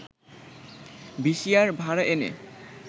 VCR ভাড়া এনে